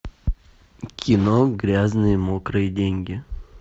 кино грязные мокрые деньги